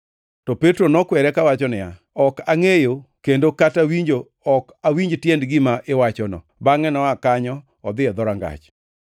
To Petro nokwere kawacho niya, “Ok angʼeyo kendo kata winjo ok awinj tiend gima iwachono.” Bangʼe noa kanyo odhi e dhorangach.